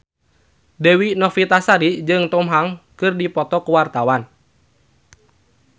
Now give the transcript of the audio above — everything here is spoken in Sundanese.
Dewi Novitasari jeung Tom Hanks keur dipoto ku wartawan